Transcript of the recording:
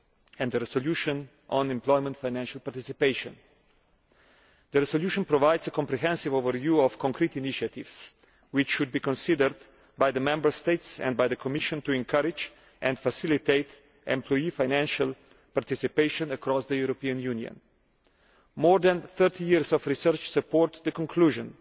and the resolution on employee financial participation. The resolution provides a comprehensive overview of concrete initiatives which should be considered by the Member States and by the Commission to encourage and facilitate employee financial participation across the European Union. More than 30 years of research support the conclusion